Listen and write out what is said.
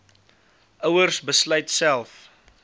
ouers besluit self